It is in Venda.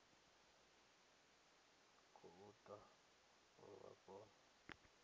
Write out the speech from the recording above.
khou ḓa uri vha kone